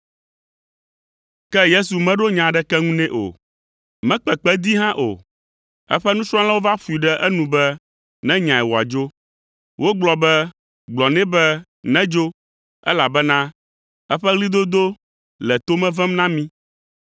Ke Yesu meɖo nya aɖeke ŋu nɛ o; mekpe kpe dee hã o. Eƒe nusrɔ̃lawo va ƒoe ɖe enu be nenyae wòadzo. Wogblɔ be, “Gblɔ nɛ be nedzo, elabena eƒe ɣlidodo le to me vem na mí.”